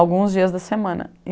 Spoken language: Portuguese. Alguns dias da semana.